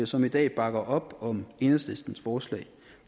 som i dag bakker op om enhedslistens forslag